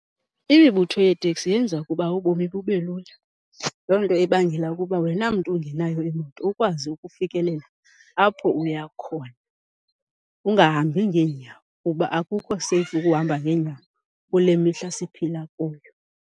Imibutho yeeteksi yenza ukuba ubomi bube lula. Loo nto ibangela ukuba wena mntu ungenayo imoto ukwazi ukufikelela apho uya khona, ungahambi ngeenyawo kuba akukho seyifu ukuhamba ngeenyawo kule mihla siphila kuyo.